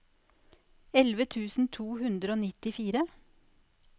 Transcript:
elleve tusen to hundre og nittifire